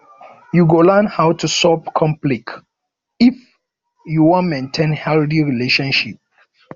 you go learn how to resolve conflict if you wan maintain healthy relationship